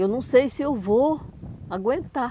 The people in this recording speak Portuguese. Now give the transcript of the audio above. Eu não sei se eu vou aguentar.